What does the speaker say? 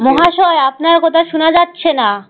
মহাশয় আপনার কথা শোনা যাচ্ছে না।